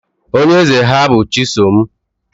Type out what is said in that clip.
Onye eze ha bụ chisom